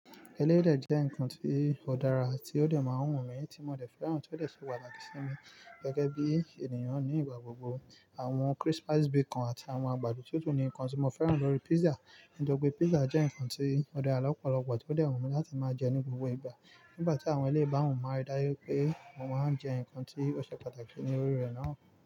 Eléyi dẹ̀ jẹ́ nǹkan tí ó dára tí ó dẹ̀ máa ń wù mí, tí mo dẹ̀ fẹ́ràn tí ó dẹ̀ ṣe pàtàkì sí mi gẹ́gẹ́ bí ènìyàn ní ìgbà gbogbo. Àwọn crispis bacon àtàwọn àgbàdo tútù ni nǹkan tí mo fẹ́ràn lórí pizza, nítorí pé pizza jẹ́ nǹkan tí ó dára lọ́pọ̀lọpọ̀ tí ó dẹ̀ wù mí láti máa jẹ ní gbogbo ìgbà. Nígbà tí àwọn ilé ìbáhun máa ń dá yọ pé wọ́n máa ń jẹ nǹkan tí ó ṣe pàtàkì ní orí rẹ̀ náà.